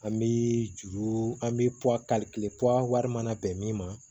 An bi juru an bi wari mana bɛn min ma